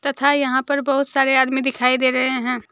था यहां पर बहुत सारे आदमी दिखाई दे रहे हैं।